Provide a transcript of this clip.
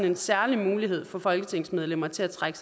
en særlig mulighed for folketingsmedlemmer til at trække